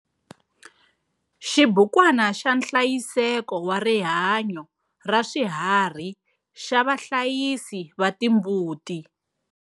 Xibukwana xa nhlayiseko wa rihanyo raswiharhi xa vahlayisi va timbuti.